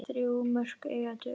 Þrjú mörk eiga að duga.